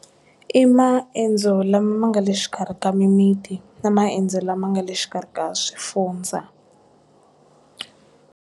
I maendzo lama ma nga le xikarhi ka mimiti na maendzo lama nga le xikarhi ka swifundza.